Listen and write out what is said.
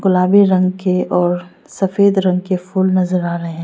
गुलाबी रंग के और सफेद रंग के फूल नजर आ रहे--